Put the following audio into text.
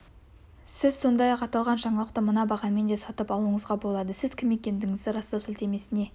сіз сондай-ақ аталған жаңалықты мына бағамен де сатып алуыңызға болады сіз кім екендігіңізді растау сілтемесіне